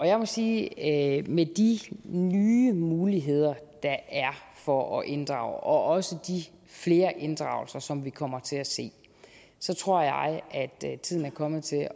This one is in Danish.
jeg må sige at med de nye muligheder der er for at inddrage og også de flere inddragelser som vi kommer til at se tror jeg at tiden er kommet til at